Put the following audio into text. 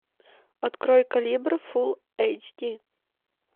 открой калибр фул эйч ди